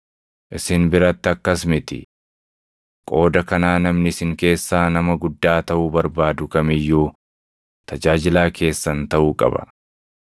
Isin biratti akkas miti. Qooda kanaa namni isin keessaa nama guddaa taʼuu barbaadu kam iyyuu tajaajilaa keessan taʼuu qaba;